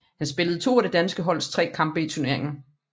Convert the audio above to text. Han spillede to af det danske holds tre kampe i turneringen